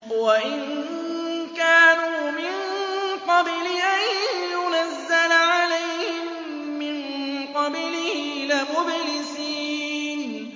وَإِن كَانُوا مِن قَبْلِ أَن يُنَزَّلَ عَلَيْهِم مِّن قَبْلِهِ لَمُبْلِسِينَ